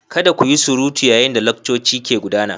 Kada ku yi surutu yayin da laccoci ke gudana.